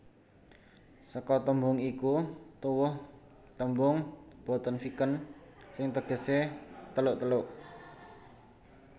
Saka tembung iku tuwuh tembung Bottenviken sing tegese teluk teluk